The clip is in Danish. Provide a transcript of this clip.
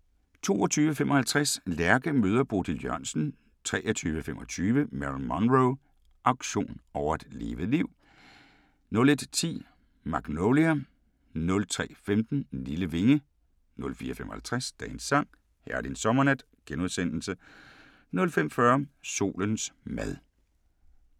22:55: Lærke møder Bodil Jørgensen 23:25: Marilyn Monroe – auktion over et levet liv 00:10: Magnolia 03:15: Lille vinge 04:55: Dagens sang: Herlig en sommernat * 05:40: Solens mad